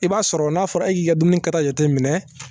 I b'a sɔrɔ n'a fɔra e y'i ka dumuni kɛta jateminɛ